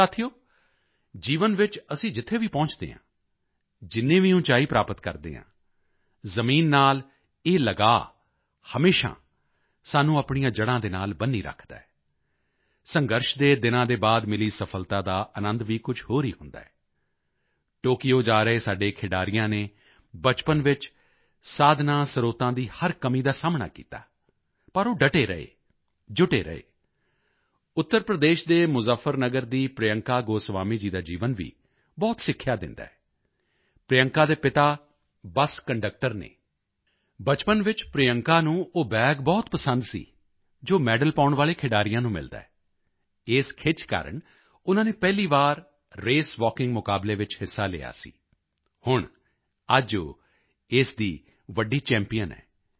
ਸਾਥੀਓ ਜੀਵਨ ਵਿੱਚ ਅਸੀਂ ਜਿੱਥੇ ਵੀ ਪਹੁੰਚਦੇ ਹਾਂ ਜਿੰਨੀ ਵੀ ਉਚਾਈ ਪ੍ਰਾਪਤ ਕਰਦੇ ਹਾਂ ਜ਼ਮੀਨ ਨਾਲ ਇਹ ਲਗਾਓ ਹਮੇਸ਼ਾ ਸਾਨੂੰ ਆਪਣੀਆਂ ਜੜ੍ਹਾਂ ਦੇ ਨਾਲ ਬੰਨ੍ਹੀ ਰੱਖਦਾ ਹੈ ਸੰਘਰਸ਼ ਦੇ ਦਿਨਾਂ ਦੇ ਬਾਅਦ ਮਿਲੀ ਸਫਲਤਾ ਦਾ ਅਨੰਦ ਵੀ ਕੁਝ ਹੋਰ ਹੀ ਹੁੰਦਾ ਹੈ ਟੋਕਯੋ ਜਾ ਰਹੇ ਸਾਡੇ ਖਿਡਾਰੀਆਂ ਨੇ ਬਚਪਨ ਵਿੱਚ ਸਾਧਨਾਂਸਰੋਤਾਂ ਦੀ ਹਰ ਕਮੀ ਦਾ ਸਾਹਮਣਾ ਕੀਤਾ ਪਰ ਉਹ ਡਟੇ ਰਹੇ ਜੁਟੇ ਰਹੇ ਉੱਤਰ ਪ੍ਰਦੇਸ਼ ਦੇ ਮੁਜ਼ੱਫਰਨਗਰ ਦੀ ਪ੍ਰਿਯੰਕਾ ਗੋਸਵਾਮੀ ਜੀ ਦਾ ਜੀਵਨ ਵੀ ਬਹੁਤ ਸਿੱਖਿਆ ਦਿੰਦਾ ਹੈ ਪ੍ਰਿਯੰਕਾ ਦੇ ਪਿਤਾ ਬੱਸ ਕੰਡਕਟਰ ਹਨ ਬਚਪਨ ਵਿੱਚ ਪ੍ਰਿਯੰਕਾ ਨੂੰ ਉਹ ਬੈਗ ਬਹੁਤ ਪਸੰਦ ਸੀ ਜੋ ਮੈਡਲ ਪਾਉਣ ਵਾਲੇ ਖਿਡਾਰੀਆਂ ਨੂੰ ਮਿਲਦਾ ਹੈ ਇਸੇ ਖਿੱਚ ਕਾਰਨ ਉਨ੍ਹਾਂ ਨੇ ਪਹਿਲੀ ਵਾਰੀ ਰੇਸਵਾਕਿੰਗ ਮੁਕਾਬਲੇ ਵਿੱਚ ਹਿੱਸਾ ਲਿਆ ਸੀ ਹੁਣ ਅੱਜ ਉਹ ਇਸ ਦੀ ਵੱਡੀ ਚੈਂਪੀਅਨ ਹਨ